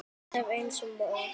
Alltaf eins, alla morgna.